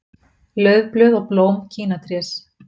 Laufblöð og blóm kínatrés.